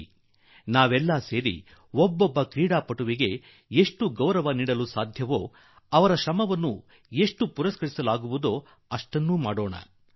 ಬನ್ನಿ ನಾವೆಲ್ಲರೂ ಬರುವ ದಿನಗಳಲ್ಲಿ ಪ್ರತಿಯೊಬ್ಬ ಆಟಗಾರನನ್ನು ಅದೆಷ್ಟು ಗೌರವಾನ್ವಿತನನ್ನಾಗಿ ಮಾಡಬಹುದೋ ಆತನ ಪ್ರಯತ್ನಗಳನ್ನು ಪುರಸ್ಕರಿಸಲು ಸಾಧ್ಯವೋ ಅಷ್ಟನ್ನೂ ಮಾಡೋಣ